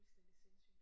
Fuldstændig sindssygt